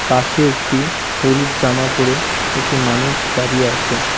পাশে একটি হলুদ জামা পড়ে একটি মানুষ দাঁড়িয়ে আসে।